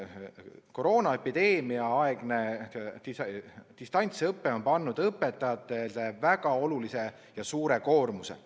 Koroonaepideemiaaegne distantsõpe on pannud õpetajatele väga suure koormuse.